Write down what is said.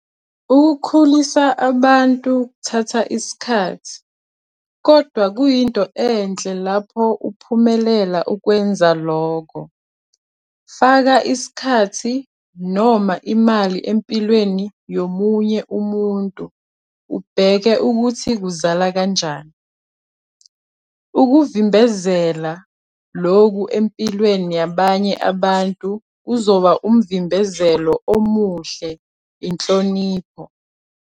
Ukukhulisa abantu kuthatha isikhathi, kodwa kuyinto enhle lapho uphumelela ukwenza lokho - faka isikhathi noma imali empilweni yomunye umuntu ubheke ukuthi kuzala kanjani. Ukuvimbezela lokhu empilweni yabanye abantu kuzoba umvimbezelo omuhle, inhlonipho.